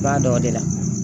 I b'a dɔn o de la